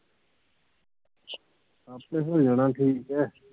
ਆਪੇ ਹੋ ਜਾਣਾ ਠੀਕ ਹੈ